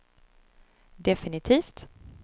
definitivt